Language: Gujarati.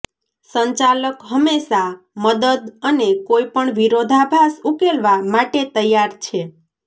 સંચાલક હંમેશા મદદ અને કોઈપણ વિરોધાભાસ ઉકેલવા માટે તૈયાર છે